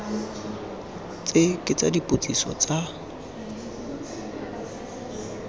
tse ke tsa dipotsiso tsa